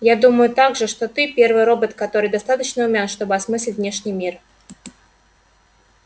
я думаю также что ты первый робот который достаточно умён чтобы осмыслить внешний мир